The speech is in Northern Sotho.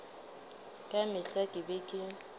ka mehla ke be ke